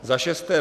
Za šesté.